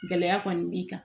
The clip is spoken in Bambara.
Gɛlɛya kɔni b'i kan